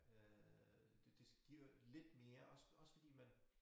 Øh det det giver lidt mere også også fordi man